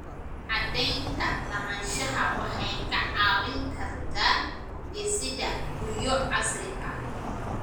Cadaynta lahaanshaha waxay kaa caawin kartaa dhisidda guryo casri ah.